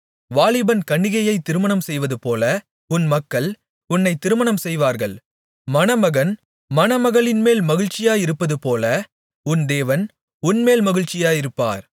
வாலிபன் கன்னிகையை திருமணம்செய்வதுபோல உன் மக்கள் உன்னை திருமணம்செய்வார்கள் மணமகன் மணமகளின்மேல் மகிழ்ச்சியாயிருப்பதுபோல உன் தேவன் உன்மேல் மகிழ்ச்சியாயிருப்பார்